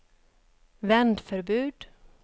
vändförbud